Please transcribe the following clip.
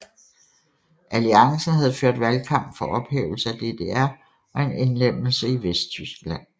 Alliancen havde ført valgkamp for ophævelse af DDR og en indlemmelse i Vesttyskland